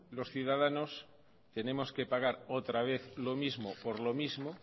los ciudadanos tenemos que pagar otra vez lo mismo por lo mismo